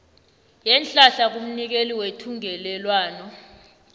yeenhlahla kumnikeli wethungelelwano